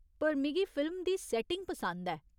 पर मिगी फिल्म दी सैटिंग पसंद ऐ।